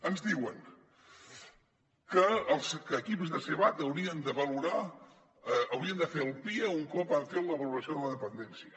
ens diuen que els equips de sevad haurien de fer el pia un cop han fet la valo·ració de la dependència